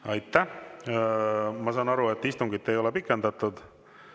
Kuus minutit vaheaega keskfraktsiooni palvel, mis tähendab seda, et meie istungi aeg saab täis ja tänane istung on lõppenud.